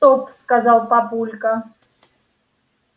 стоп сказал папулька